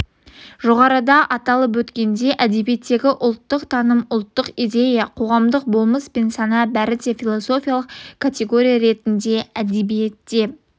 жоғарыда аталып өткендей әдебиеттегі ұлттық таным ұлттық идея қоғамдық болмыс пен сана бәрі де философиялық категория ретінде әдебиетте